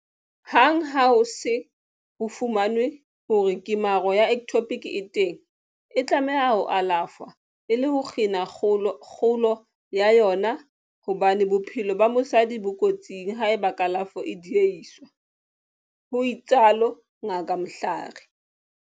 Hang ha ho se ho fumanwe hore kemaro ya ectopic e teng, e tlameha ho alafshwa e le ho kgina kgolo ya yona, hobane bophelo ba mosadi bo kotsing haeba kalafo e diehiswa, ho itsalo Ngaka Mhlari.